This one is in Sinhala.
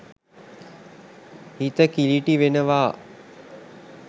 හිත කිළිටි වෙනවා.